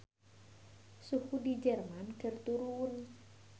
Suhu di Jerman keur turun